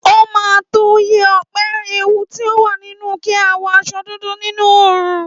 Óma tó yẹ́ Òpe ewu ti o wà nínú kí a wọ aṣọ dúdú nínú òòrùn